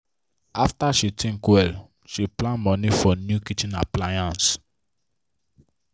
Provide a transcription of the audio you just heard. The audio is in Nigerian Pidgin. after she think well she plan money for new kitchen appliance.